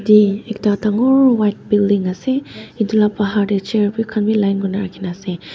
te ekta dangor white building ase itu la bahar te chair bi khan bi line kuri na rakhi na ase.